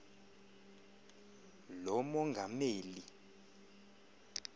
lomongameli